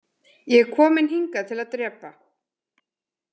Ég er kominn hingað til að drepa.